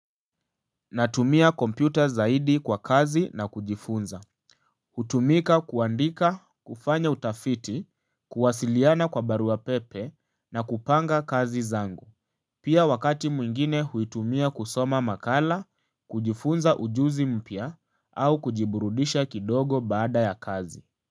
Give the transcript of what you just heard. Natumia kompyuta zaidi. Kwa kazi na kujifunza. Hutumika kuandika, kufanya utafiti, kuwasiliana kwa barua pepe na kupanga kazi zangu. Pia, wakati mwingine huitumia kusoma makala, kujifunza ujuzi mpya, au kujiburudisha kidogo baada ya kazi.